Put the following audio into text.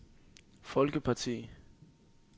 folkeparti